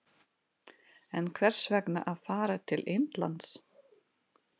En hvers vegna að fara til Indlands?